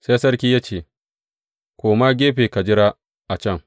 Sai sarki ya ce, Koma gefe ka jira a can.